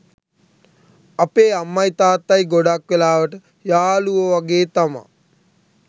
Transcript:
අපේ අම්මයි තාත්තයි ගොඩක් වෙලාවට යාලුවෝ වගේ තමා